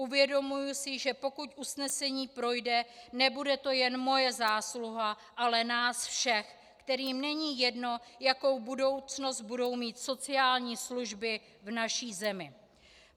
Uvědomuji si, že pokud usnesení projde, nebude to jen moje zásluha, ale nás všech, kterým není jedno, jakou budoucnost budou mít sociální služby v naší zemi.